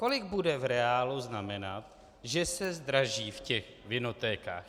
Kolik bude v reálu znamenat, že se zdraží v těch vinotékách?